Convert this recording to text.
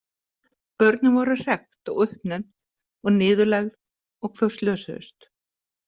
Börnin voru hrekkt og uppnefnd og niðurlægð og þau slösuðust.